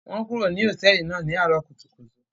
Wọn kúrò ní hotẹẹli náà ní arọ kùtùkùtù